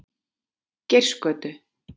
Geirsgötu